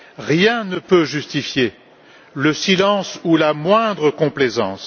Rien ne peut justifier le silence ou la moindre complaisance.